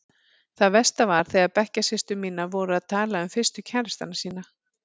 Það versta var þegar bekkjarsystur mínar voru að tala um fyrstu kærastana sína.